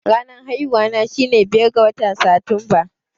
Ranar haihuwata shine biyar ga watan Satumba.